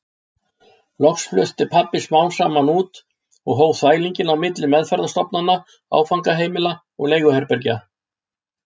Loks flutti pabbi samt út og hóf þvælinginn á milli meðferðarstofnana, áfangaheimila og leiguherbergja.